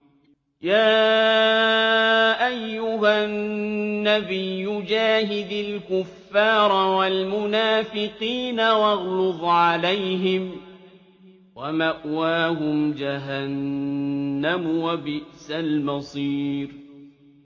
يَا أَيُّهَا النَّبِيُّ جَاهِدِ الْكُفَّارَ وَالْمُنَافِقِينَ وَاغْلُظْ عَلَيْهِمْ ۚ وَمَأْوَاهُمْ جَهَنَّمُ ۖ وَبِئْسَ الْمَصِيرُ